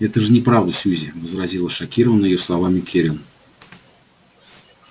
это же неправда сьюзи возразила шокированная её словами кэррин